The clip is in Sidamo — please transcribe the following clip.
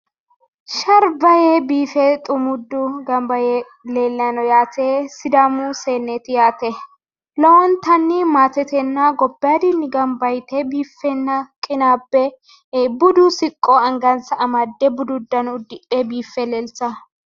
Sharba yee biife xumuuddu gamba yee leellayi no yaate sidaamu seenneeti yaate lowontanni maatetenna gobbaadinni gamba yite biiffenna qinaabbe budu siqqo angansa amadde budu uddano uddidhe biiffe leeltawo